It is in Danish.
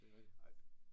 Det rigtigt